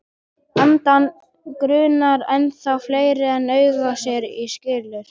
Andann grunar ennþá fleira en augað sér og skilur.